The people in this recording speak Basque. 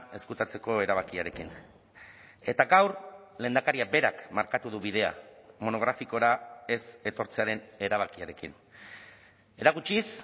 ezkutatzeko erabakiarekin eta gaur lehendakariak berak markatu du bidea monografikora ez etortzearen erabakiarekin erakutsiz